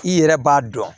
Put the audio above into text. I yɛrɛ b'a dɔn